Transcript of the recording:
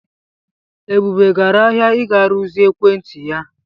Ebube gara ahịa ịga rụzie ekwentị ya.